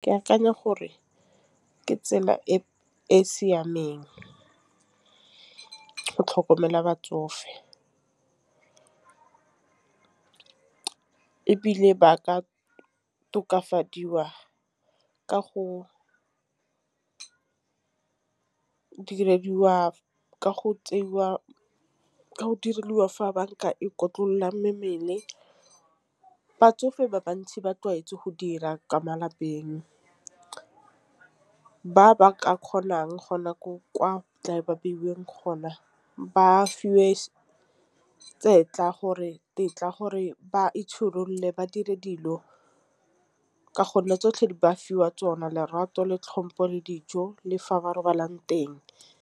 Ke akanya gore ke tsela e siameng go tlhokomela batsofe, ebile ba ka tokafadiwa ka go ka diragadiwa ka go tseiwa diriwa fa banka e mmele. Batsofe ba bantsi ba tlwaetswe go dira kwa malapeng. Ba ba ka kgonang go nako kwa tla e ba beilweng gona ba fiwe tetla gore ba itshireletse ba dire dilo. Ka gonne tsotlhe di ba fiwa tsona lerato le tlhompho le dijo le fa ba robalang teng.